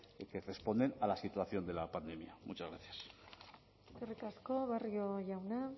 que responden a la situación de la pandemia muchas gracias eskerrik asko barrio jauna